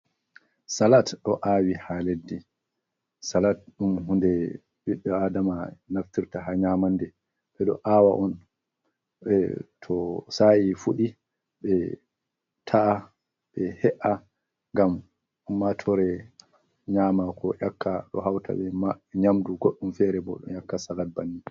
Salat ɗo aawi haa leddi, salat ɗum huunde bi'aadama naftirta haa nyamande, ɓe ɗo aawa on to sa'i fuɗi ɓe ta’a, ɓe he''a ngam ummaatoore nyaama ko yakka ɗo hawta bee nyamndu goɗɗum fere bo ɗo yakka salat bannin.